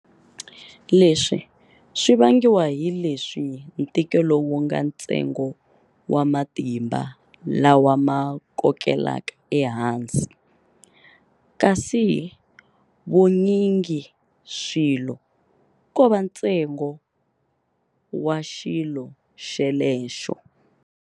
Leswi swi vangiwa hi leswi ntikelo wunga ntsengo wa matimba lawa ma kokelaka ehansi, kasi vunyingiswilo kova ntsengo wa xilo xelexo.